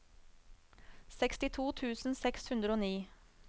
sekstito tusen seks hundre og ni